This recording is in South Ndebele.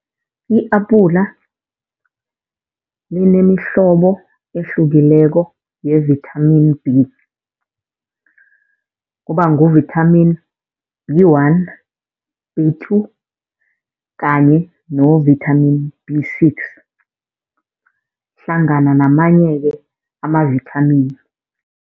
I-apula linemihlobo ehlukileko ye-vitamin B. Kuba ngu-vitamin B one, B two kanye ne-vitamin B six. Hlangana namanye-ke ama-vitamin.